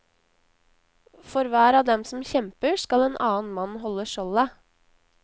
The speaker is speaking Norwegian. For hver av dem som kjemper, skal en annen mann holde skjoldet.